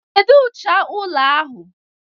Kedu ụcha ụlọ ahụ?